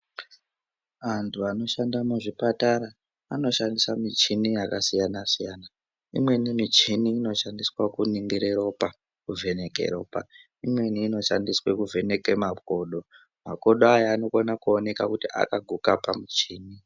Antu anoshanda muzvipatara ano shandise michini yakasiyana siyana. Imweni michini ino shandiswe kuningire ropa kuvheneke ropa. Imweni ino shandiswe kuvheneke makodo. Makodo aya anokone kuoneka kuti akaguka pamuchini.